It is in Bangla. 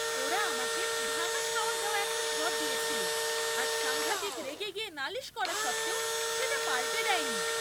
ওরা আমাকে ভাঙা শাওয়ার দেওয়া একটা ঘর দিয়েছিল আর সাংঘাতিক রেগে গিয়ে নালিশ করা সত্ত্বেও সেটা পাল্টে দেয়নি।